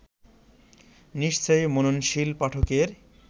নিশ্চয়ই মননশীল পাঠকের